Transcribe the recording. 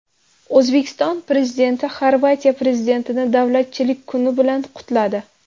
O‘zbekiston Prezidenti Xorvatiya prezidentini Davlatchilik kuni bilan qutladi.